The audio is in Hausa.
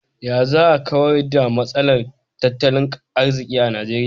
Ya za a kawar da matsalar tattalin arziki a Nigeria?